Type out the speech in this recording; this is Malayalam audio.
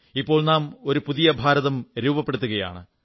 ഇപ്പോൾ നാം ഒരു പുതിയഭാരതം രൂപപ്പെടുത്തുകയാണ്